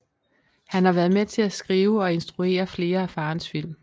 Han har været med til at skrive og instruere flere af faderens film